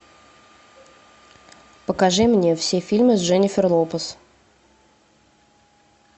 покажи мне все фильмы с дженнифер лопес